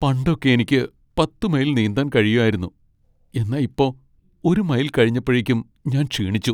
പണ്ടൊക്കെ എനിക്ക് പത്ത് മൈൽ നീന്താൻ കഴിയായിരുന്നു, എന്നാ ഇപ്പോ ഒരു മൈൽ കഴിഞ്ഞപ്പഴക്കും ഞാൻ ക്ഷീണിച്ചു.